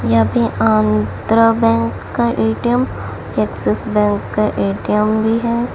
यहां पे आंध्र बैंक का ए_टी_एम एक्सिस बैंक का ए_टी_एम भी है।